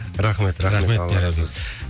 рахмет рахмет алла разы болсын